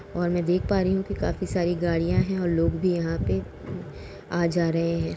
और मैं देख पा रही हूँ कि काफी सारी गड़िया है और लोग भी यहाँ पे आ जा रहे हैं।